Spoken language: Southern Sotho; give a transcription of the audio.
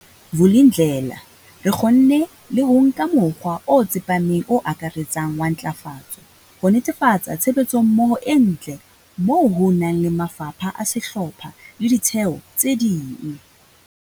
Vulindlela, re kgonne le ho nka mokgwa o tsepameng o akaretsang wa ntlafatso, ho netefatsa tshebetsommoho e ntle moo ho nang le mafapha a sehlopha le ditheo tse ding.